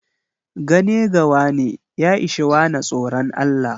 Gane gawane ya ishe wane tsoron Allah.